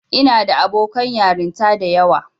Ina da abokan yarinta da yawa.